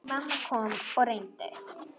Mamma kom og reyndi.